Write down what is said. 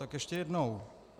Tak ještě jednou.